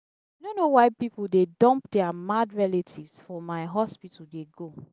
i no know why people dey dump their mad relatives for my hospital dey go.